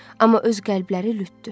Amma öz qəlbləri lütdür.